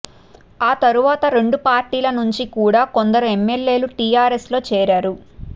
ఆ తరువాత రెండు పార్టీల నుంచి కూడా కొందరు ఎమ్మెల్యేలు టీఆర్ఎస్ లో చేరారు